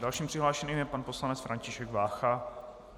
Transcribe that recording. Dalším přihlášeným je pan poslanec František Vácha.